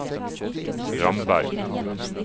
Ramberg